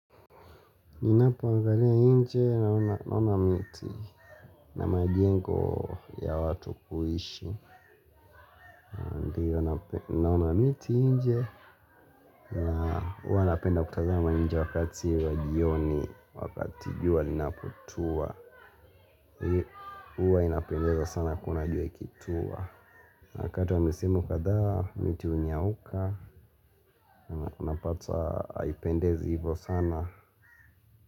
Ninapoangalia nje naona miti. Na majengo ya watu kuishi naona miti nje. Na huwa napenda kutazama nje wakati wa jioni wakati jua linapotua. Huwa inapendeza sana kuona jua ikitua. Na wakati wa misimu kadhaa miti hunyauka. Unapata haipendezi hivyo sana.